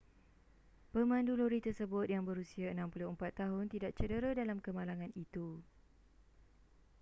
pemandu lori tersebut yang berusia 64 tahun tidak cedera dalam kemalangan itu